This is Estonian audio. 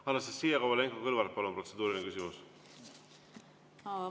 Anastassia Kovalenko-Kõlvart, palun, protseduuriline küsimus!